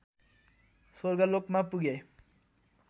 स्वर्गलोकमा पुगे